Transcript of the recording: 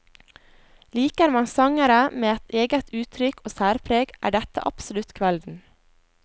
Liker man sangere med et eget uttrykk og særpreg, er dette absolutt kvelden.